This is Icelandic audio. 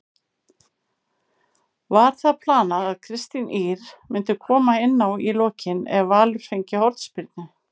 Var það planað að Kristín Ýr myndi koma inná í lokin ef Valur fengi hornspyrnu?